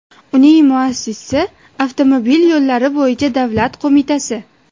Uning muassisi avtomobil yo‘llari bo‘yicha davlat qo‘mitasi.